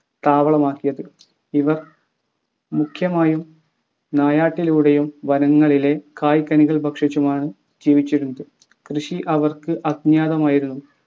താവളമാക്കിയത് ഇവർ മുഖ്യമായും നായാട്ടിലൂടെയും വനങ്ങളിലെ കായ്കനികൾ ഭക്ഷിച്ചുമാണ് ജീവിച്ചിരുന്നത് കൃഷി അവർക്ക് അജ്ഞാതമായിരുന്നു